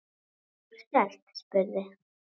Þórkell spurði